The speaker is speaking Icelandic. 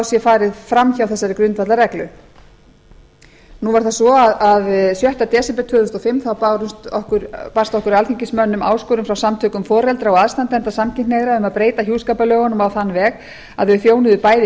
sé farið fram hjá þessari grundvallarreglu nú er það svo að þann sjötta desember tvö þúsund og fimm barst okkur alþingismönnum áskorun frá samtökum foreldra og aðstandenda samkynhneigðra um að breyta hjúskaparlögunum á þann veg að þau þjónuðu bæði gagnkynhneigðu